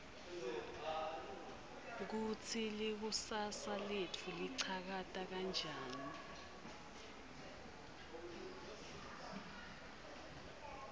kutsi likusasa letfu ligacha kanjani